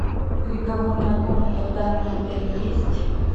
переговорная комната в данном отеле есть